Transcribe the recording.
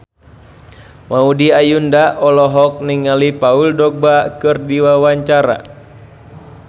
Maudy Ayunda olohok ningali Paul Dogba keur diwawancara